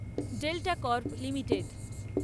delta Corp limited